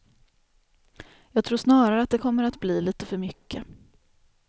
Jag tror snarare att det kommer att bli lite för mycket.